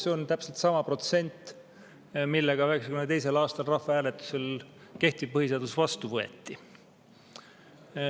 See on täpselt sama protsent, millega kehtiv põhiseadus 1992. aasta rahvahääletusel vastu võeti.